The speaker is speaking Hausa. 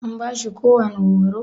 An bashi kowani horo?